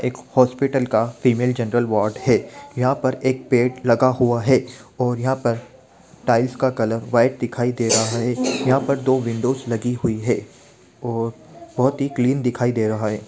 एक हॉस्पिटल का female general ward है यहाँ पर एक बेड लगा हुआ है और यहाँ पर टाइल्स का कलर व्हाइट दिखाई दे रहा है यहाँ पर दो विंडोज़ लगी हुई है और बहुत ही क्लीन दिखाई दे रहा है ।